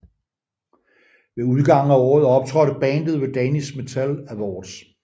Ved udgangen af året optrådte bandet ved Danish Metal Awards